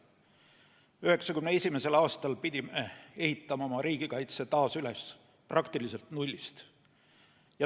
1991. aastal pidime ehitama oma riigikaitse taas üles praktiliselt nullist.